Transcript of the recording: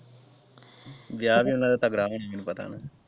ਵਿਆਹ ਵੀ ਉਹਨਾਂ ਦਾ ਤਗੜਾ ਹੋਣਾ ਮੈਨੂੰ ਪਤਾ ਹੈ।